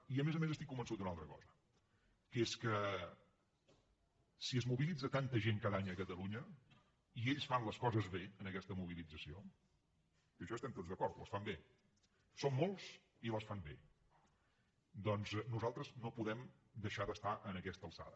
i a més a més estic convençut d’una altra cosa que és que si es mobilitza tanta gent cada any a catalunya i ells fan les coses bé en aquesta mobilització en això hi estem tots d’acord les fan bé són molts i les fan bé doncs nosaltres no podem deixar d’estar a aquesta alçada